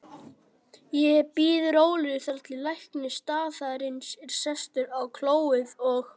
Ég bíð rólegur þar til læknir staðarins er sestur á klóið og